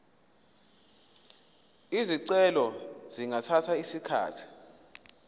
izicelo zingathatha isikhathi